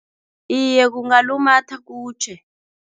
Iye, kungalumatha kutjhe.